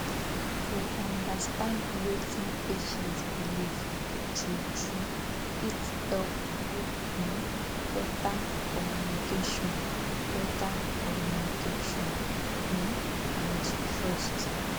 to understand wetin patient believe true true fit help build um better communication better communication um and trust